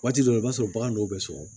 Waati dɔ la i b'a sɔrɔ bagan dɔw bɛ sɔgɔ